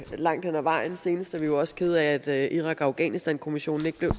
langt hen ad vejen senest er vi jo også kede af at irak og afghanistankommissionen ikke blev